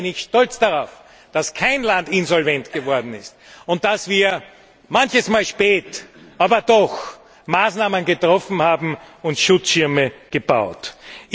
Deshalb bin ich stolz darauf, dass kein Land insolvent geworden ist und dass wir manchmal spät, aber doch Maßnahmen getroffen und Schutzschirme gebaut haben.